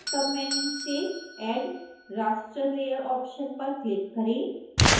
submenu से add raster layer option पर click करें